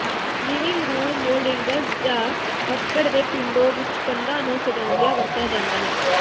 living room mouldings ਜਾਂ ਲੱਕੜ ਦੇ ਪਿੰਡੋ ਵਿੱਚ ਕੰਧਾਂ ਨੂੰ ਸਜਾਉਂਦਿਆਂ ਵਰਤਿਆ ਜਾਂਦਾ ਹੈ